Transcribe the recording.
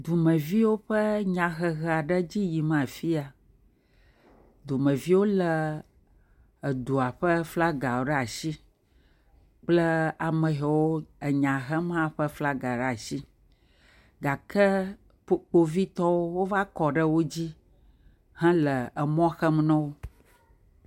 Dumeviwo ƒe nyahehe aɖe dzi yim afi ya, dumeviwo lé edua ƒe flaga ɖe atsi kple ame hɛwo enya hem hã ƒe flaga ɖe atsi gake kpo kpovitɔwo wova kɔ ɖe wo dzi hele emɔ xem no.